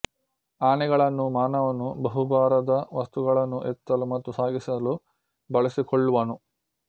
ಆನೆಗಳನ್ನು ಮಾನವನು ಬಹು ಭಾರದ ವಸ್ತುಗಳನ್ನು ಎತ್ತಲು ಮತ್ತು ಸಾಗಿಸಲು ಬಳಸಿಕೊಳ್ಳುವನು